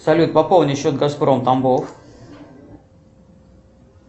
салют пополни счет газпром тамбов